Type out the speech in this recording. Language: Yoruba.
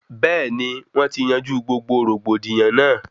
Bẹẹni wọn ti yanjú gbogbo rògbòdìyàn náà